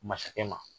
Masakɛ ma